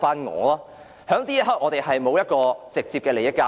我們當時沒有直接利益交易。